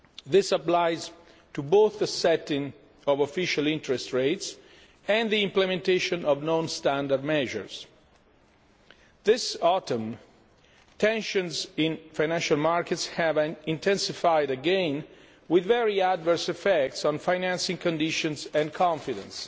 This applies to both the setting of official interest rates and the implementation of non standard measures. This autumn, tensions in financial markets have intensified again with very adverse effects on financing conditions and confidence.